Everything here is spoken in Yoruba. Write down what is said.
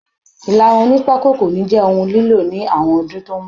Ilarun oní pako kò ní jẹ́ ohun lilo ní àwọn ọdún tó ń bọ̀